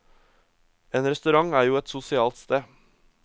En restaurant er jo et sosialt sted.